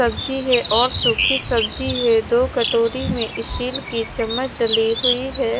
सब्जी है और सुखी सब्जी है दो कटोरी में स्टील की चम्मच डली हुई है।